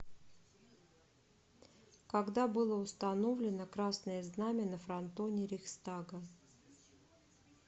когда было установлено красное знамя на фронтоне рейхстага